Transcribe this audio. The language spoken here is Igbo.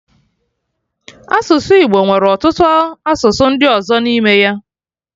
Asụsụ Igbo nwere ọtụtụ asụsụ ndị ọzọ n'ime ya